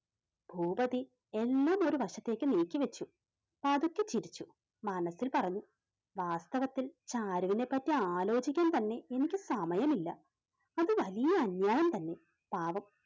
ഭൂപതി എല്ലാം ഒരു വശത്തേക്ക് നീക്കിവെച്ചു. പതുക്കെ ചിരിച്ചു മനസ്സിൽ പറഞ്ഞു വാസ്തവത്തിൽ ചാരുവിനെ പറ്റി ആലോചിക്കാൻ തന്നെ എനിക്ക് സമയമില്ല അതു വലിയ അന്യായം തന്നെ പാവം